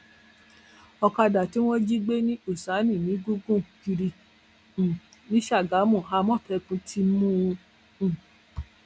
ọkadà tí wọn jí gbé ní húṣáìnì ń gùn gùn kiri um ni ságámù àmọtẹkùn ti mú un um